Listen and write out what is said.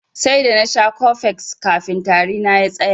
Sai da nasha cofex kafin tari na ya tsaya.